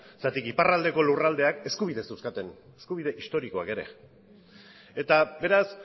zergatik iparraldeko lurraldeak eskubideak zeuzkaten eskubide historikoak ere eta beraz